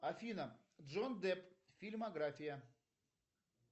афина джонни депп фильмография